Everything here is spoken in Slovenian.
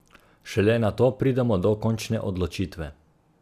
Šele nato pridemo do končne odločitve.